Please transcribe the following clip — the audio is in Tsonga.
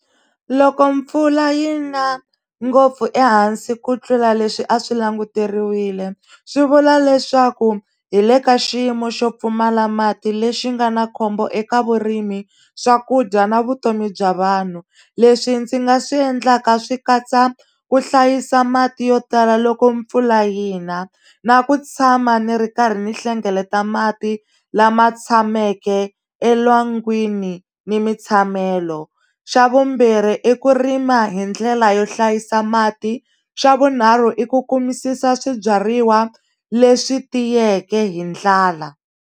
Loko mpfula yi na ngopfu ehansi ku tlula leswi a swi languteriwile swi vula leswaku hi le ka xiyimo xo pfumala mati lexi nga na khombo eka vurimi swakudya na vutomi bya vanhu leswi ndzi nga swi endlaka swi katsa ku hlayisa mati yo tala loko mpfula yi na na ku tshama ni ri karhi ni hlengeleta mati lama tshameke elwangwini ni mitshamelo xa vumbirhi i ku rima hi ndlela yo hlayisa mati xa vunharhu i ku kumisisa swibyariwa leswi tiyeke hi ndlala.